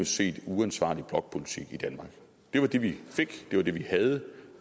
set uansvarlig blokpolitik i danmark det var det vi fik det var det vi havde